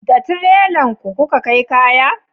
da tirela ku ka kai kaya?